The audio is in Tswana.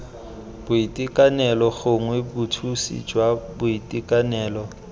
boitekanelo gongwe bothusi jwa boitekanelo